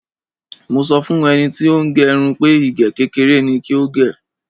Mo sọ fún ẹni tí ó ń gẹrun pé ìgé kékeré ni kò gè.